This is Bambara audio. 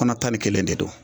Kɔnɔ tan ni kelen de don